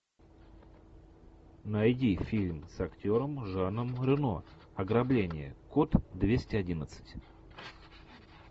найди фильм с актером жаном рено ограбление код двести одиннадцать